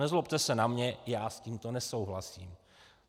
Nezlobte se na mě, já s tímto nesouhlasím.